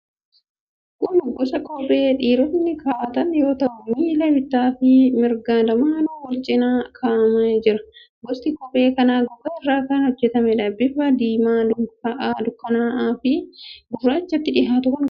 Kun gosa kophee dhiirotni kaa'atan yoo ta'u, miila bitaa fi mirgaan lamaanuu wal cina kaa'amee jira. Gosti kophee kanaa gogaa irraa kan hojjetameedha. Bifa diimaa dukkana'aa gurraachatti dhihaatu kan qabuudha.